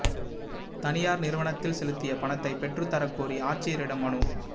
தனியாா் நிறுவனத்தில் செலுத்திய பணத்தை பெற்றுத் தரக் கோரி ஆட்சியரிடம் மனு